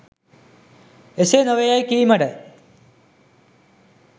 එසේ නොවේ යැයි කීමට